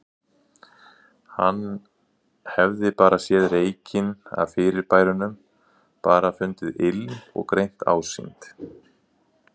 Hann hefði bara séð reykinn af fyrirbærunum, bara fundið ilm og greint ásýnd.